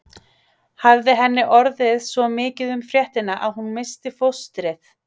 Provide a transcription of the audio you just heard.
Hafði henni orðið svo mikið um fréttina að hún missti fóstrið?